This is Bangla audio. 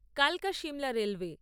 কালকা শিমলা রেলওয়ে